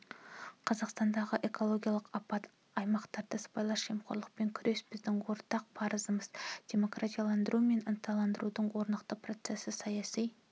қазақстандағы экологиялық апат аймақтары сыбайлас жемқорлықпен күрес біздің ортақ парызымыз демократияландыру мен ырықтандырудың орнықты процесі саяси